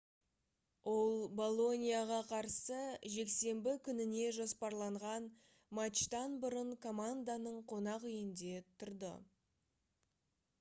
ол болоньяға қарсы жексенбі күніне жоспарланған матчтан бұрын команданың қонақүйінде тұрды